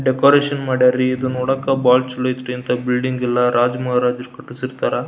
Decoration ಮಾಡ್ಯರಿ ಇದು ನೋಡಾಕ ಬಹಳ ಚಲೊಐತ್ರೀ ಇಂತ ಬಿಲ್ಡಿಂಗ್ ಎಲ್ಲ ರಾಜಮಹಾರಾಜರು ಕಟ್ಟಿಸಿರ್ತಾರ.